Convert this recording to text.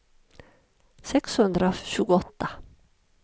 sexhundratjugoåtta